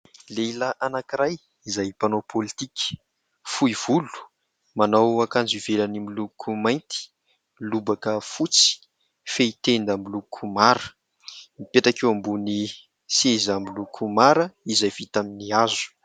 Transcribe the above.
Lehilahy anankiray izay mpanao pôlitika : fohy volo, manao akanjo ivelany miloko mainty, lobaka fotsy, fehitenda miloko mara. Mipetraka eo ambonin'ny seza miloko mara izay vita amin'ny hazo.